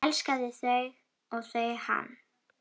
Elskaði þau og þau hann.